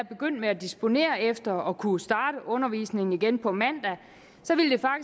begyndt at disponere efter at kunne starte undervisningen igen på mandag